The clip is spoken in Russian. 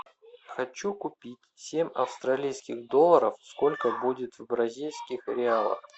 хочу купить семь австралийских долларов сколько будет в бразильских реалах